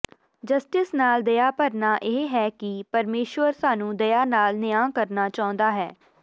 justice ਨਾਲ ਦਯਾ ਭਰਨਾ ਇਹ ਹੈ ਕਿ ਪਰਮੇਸ਼ੁਰ ਸਾਨੂੰ ਦਇਆ ਨਾਲ ਨਿਆਂ ਕਰਨਾ ਚਾਹੁੰਦਾ ਹੈ